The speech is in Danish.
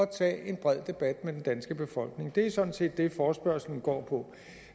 tage en bred debat med den danske befolkning det er sådan set det forespørgslen går på